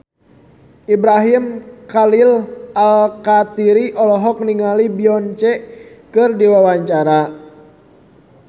Ibrahim Khalil Alkatiri olohok ningali Beyonce keur diwawancara